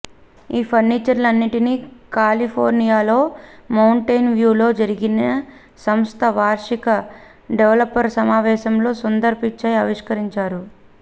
ఈ ఫీచర్లన్నింటినీ కాలిఫోర్నియాలోని మౌంటెన్ వ్యూలో జరిగిన సంస్థ వార్షిక డెవలపర్ సమావేశంలో సుందర్ పిచాయ్ ఆవిష్కరించారు